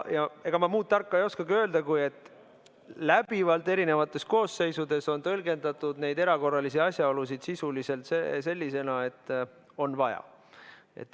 Ega ma muud tarka ei oskagi öelda, kui et läbivalt on erinevates koosseisudes tõlgendatud neid erakorralisi asjaolusid sisuliselt sellisena, et on vaja.